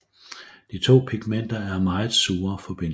De to pigmenter er meget sure forbindelser